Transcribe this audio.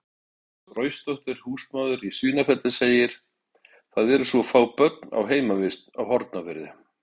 Hafdís Roysdóttir, húsmóðir í Svínafelli, segir: „Það eru svo fá börn á heimavist á Hornafirði“.